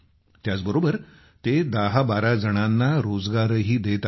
त्याचबरोबरते 1012 जणांना रोजगारही देत आहेत